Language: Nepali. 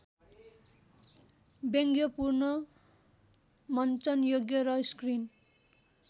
व्यङ्ग्यपूर्ण मन्चनयोग्य र स्क्रिन